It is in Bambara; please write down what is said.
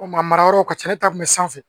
O maa mara yɔrɔw ka ca ne ta kun mɛ sanfɛ